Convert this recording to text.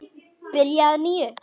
Byrja að nýju?